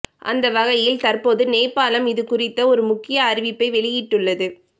அந்த வகையில் தற்போது நேபாளம் இதுகுறித்த ஒரு முக்கிய அறிவிப்பை வெளியிட்டுள்ளது